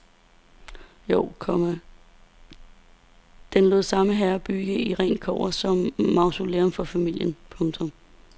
Jo, komma den lod samme herre bygge i rent kobber som mausolæum for familien. punktum